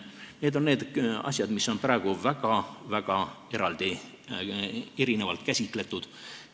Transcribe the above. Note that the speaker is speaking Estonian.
Need on need asjad, mis on praegu väga-väga eraldi, need on erinevalt käsitletud.